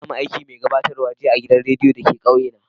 Na samo aikin mai gabatarwa jiya a'gidan radiyo da ke kauye na.